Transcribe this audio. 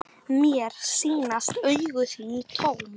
Mér sýnast augu þín tóm.